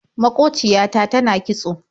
Maƙociya ta tana kitso.